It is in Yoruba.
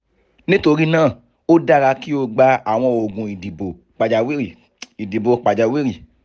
nítorí náà o dára kí o gba àwọn oògùn ìdìbò pàjáwìrì ìdìbò pàjáwìrì